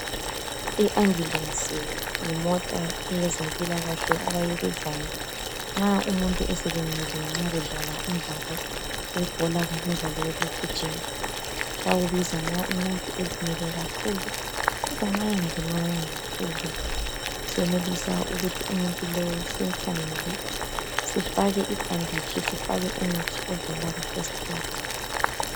I ambulensi yimota eyezempilakahle abayibizayo nxa umuntu eselimele nxa bedlala umdlalo webhola kumbe umdlalo wokugijima bakubiza nxa umuntu elimele kakhulu kodwa nxa engalimalanga kakhulu senelisa ukuthi umuntu lo simkhangele sifake ibhanditshi sifake umuthi ovela ku festi eyidi.